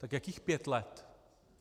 Tak jakých pět let?